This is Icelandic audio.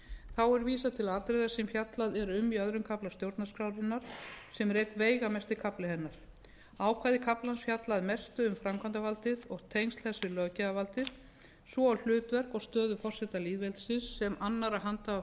þá er vísað til atriða sem fjallað er um í öðrum kafla stjórnarskrárinnar sem er einn veigamesti kafli hennar ákvæði kaflans fjalla að mestu um framkvæmdarvaldið og tengsl þess við löggjafarvaldið svo og hlutverk og stöðu forseta lýðveldisins sem annars handhafa